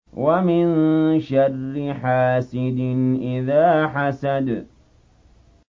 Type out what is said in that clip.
وَمِن شَرِّ حَاسِدٍ إِذَا حَسَدَ